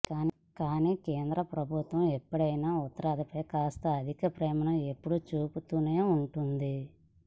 కాని కేంద్ర ప్రభుత్వం ఎప్పుడైనా ఉత్తరాదిపై కాస్త అధిక ప్రేమను ఎప్పుడూ చూపుతూనే ఉంటుంది